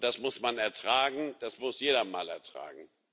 Und das muss man ertragen, das muss jeder mal ertragen.